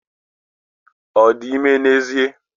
Ọ dị ime n'ezie?